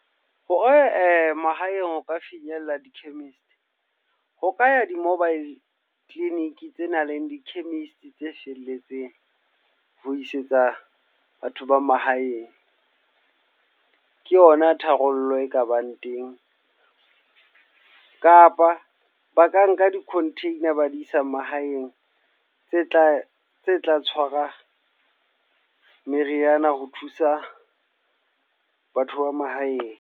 Hore mahaeng ho ka finyella di-chemist. Ho ka ya di-mobile clinic tse nang le di-chemist tse felletseng ho isetsa batho ba mahaeng. Ke ona tharollo e kabang teng. Kapa ba ka nka di-container ba di isa mahaeng tse tla tse tla tshwarang meriana ho thusa batho ba mahaeng.